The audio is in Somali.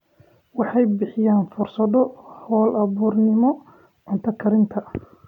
Waxay bixiyaan fursado hal-abuurnimo cunto karinta.